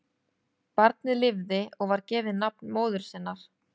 Barnið lifði og var gefið nafn móður sinnar.